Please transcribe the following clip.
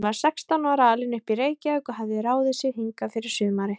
Hún var sextán ára, alin upp í Reykjavík og hafði ráðið sig hingað fyrir sumarið.